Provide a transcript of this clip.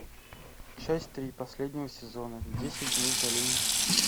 часть три последнего сезона десять дней в долине